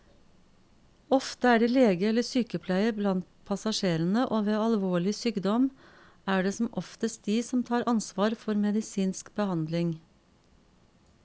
Ofte er det lege eller sykepleier blant passasjerene, og ved alvorlig sykdom er det som oftest de som tar ansvar for medisinsk behandling.